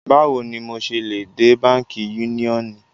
Báwò ní mọ ṣé lè dẹ̀ Bankí Yúniọ́nì?